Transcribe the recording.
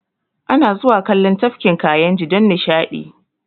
Ana zuwa kallon Tafkin Kayinji don nishaɗi